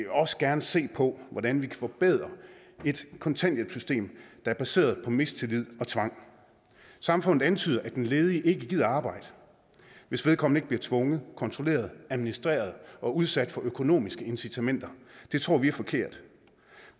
også gerne se på hvordan vi kan forbedre et kontanthjælpssystem der er baseret på mistillid og tvang samfundet antyder at den ledige ikke gider arbejde hvis vedkommende ikke bliver tvunget kontrolleret administreret og udsat for økonomiske incitamenter det tror vi er forkert